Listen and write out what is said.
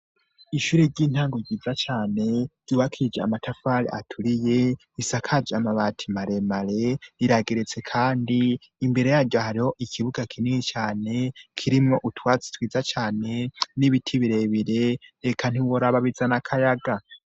Ishure ry'intango ryiza cane ryubakije amatafari aturiye risakaje amabati maremare rirageretse kandi; imbere yaryo hariho ikibuga kinini cane, kirimwo utwatsi twiza cane n'ibiti birebire, eka ntiworaba bizana akayaga.